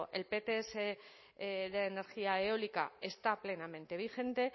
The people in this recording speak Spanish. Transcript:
el pts de energía eólica está plenamente vigente